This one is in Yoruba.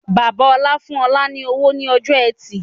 Bàbá ọ̀la fún ọ̀la ni owó ni ọjọ́ ẹtì